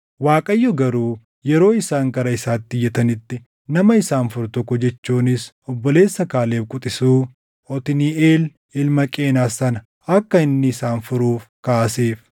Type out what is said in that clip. Waaqayyo garuu yeroo isaan gara isaatti iyyatanitti nama isaan furu tokko jechuunis obboleessa Kaaleb quxisuu, Otniiʼeel ilma Qenaz sana akka inni isaan furuuf kaaseef.